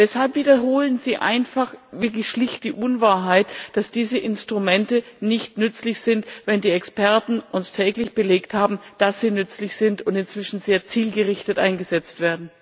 Weshalb wiederholen Sie einfach wirklich schlicht die Unwahrheit, dass diese Instrumente nicht nützlich sind, wenn die Experten uns täglich belegt haben, dass sie nützlich sind und inzwischen sehr zielgerichtet eingesetzt werden?